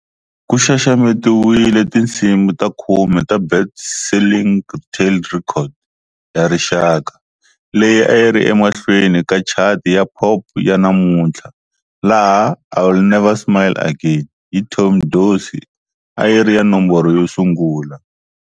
Ku xaxametiwile tinsimu ta khume ta"Best Selling Retail Records" ya rixaka, leyi a yi ri emahlweni ka chati ya pop ya namuntlha, laha" I'll Never Smile Again" hi Tommy Dorsey a yi ri ya nomboro yo sungula.